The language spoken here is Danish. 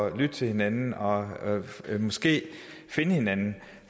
at lytte til hinanden og måske finde hinanden